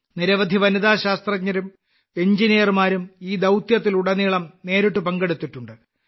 നിരവധി വനിതാ ശാസ്ത്രജ്ഞരും എഞ്ചിനീയർമാരും ഈ ദൌത്യത്തിലുടനീളം നേരിട്ട് പങ്കെടുത്തിട്ടുണ്ട്